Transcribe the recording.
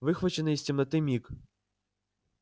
выхваченный из темноты миг